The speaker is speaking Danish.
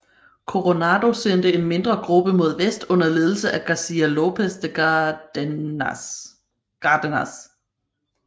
Coronado sendte en mindre gruppe mod vest under ledelse af Garcia López de Cárdenas